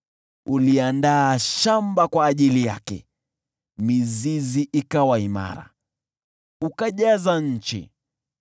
Uliandaa shamba kwa ajili yake, mizizi ikawa imara, ukajaza nchi.